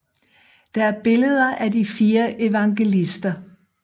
Der er billeder af de fire evangelister